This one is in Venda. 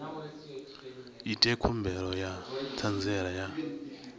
ite khumbelo ya ṱhanziela ya